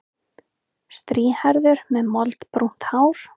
Strýhærður með moldbrúnt hár.